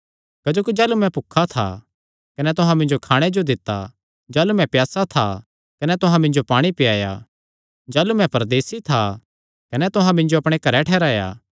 क्जोकि जाह़लू मैं भुखा था कने तुहां मिन्जो खाणे जो दित्ता जाह़लू मैं प्यासा था कने तुहां मिन्जो पाणी पियाया जाह़लू मैं परदेसी था कने तुहां मिन्जो अपणे घरैं ठैहराया